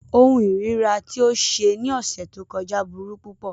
Ohun ìríra ti o ṣe ni ọsẹ to kọja buru pupọ.